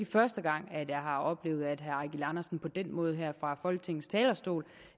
første gang at jeg har oplevet at herre eigil andersen på den måde her fra folketingets talerstol